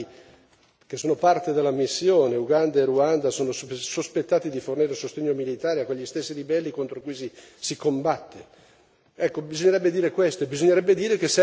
Risulta poi singolare che due Stati che sono parte della missione, Uganda e Ruanda, sono sospettati di fornire sostegno militare a quegli stessi ribelli contro cui si si combatte.